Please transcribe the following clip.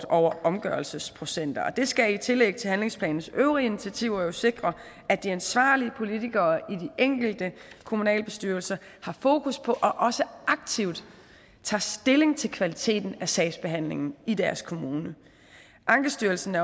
over omgørelsesprocenter det skal i tillæg til handlingsplanens øvrige initiativer jo sikre at de ansvarlige politikere i de enkelte kommunalbestyrelser har fokus på og også aktivt tager stilling til kvaliteten af sagsbehandlingen i deres kommune ankestyrelsen